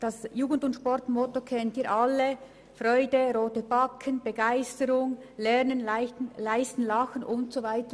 Das J+S-Motto kennen Sie alle: Freude, rote Backen, Begeisterung, Lernen, Leisten, Lachen und so weiter.